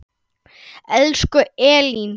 Elsku Elín.